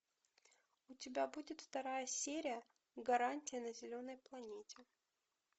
у тебя будет вторая серия гарантия на зеленой планете